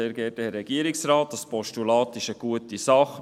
Dieses Postulat ist eine gute Sache.